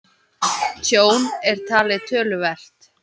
Tjón er talið töluvert